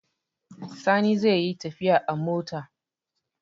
Sani zai yi tafiya a mota.